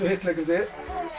hitt leikritið